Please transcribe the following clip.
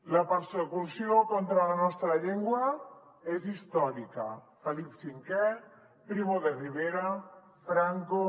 la persecució contra la nostra llengua és històrica felip v primo de rivera franco